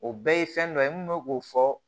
O bɛɛ ye fɛn dɔ ye n bɛ k'o fɔ